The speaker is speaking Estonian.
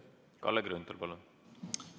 Kalle Grünthal, palun!